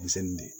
Denmisɛnnin de ye